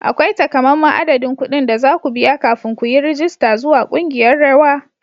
Akwai takamaiman adadin kuɗin da za ku biya kafin ku yi rajista zuwa ƙungiyar rawa.